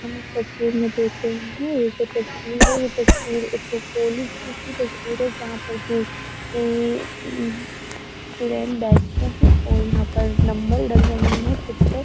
हम इस तस्वीर में देख रहें हैं ये जो तस्वीर है ये तस्वीर एक कॉलेज की तस्वीर है। जहाँ पर की मम्म स्टूडेंट बैठते हैं और यहाँ पर नंबर डल रहे हैं सीट पर --